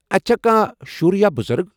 اتہِ چھا کانٛہہ شُر یا بُزرٕگ؟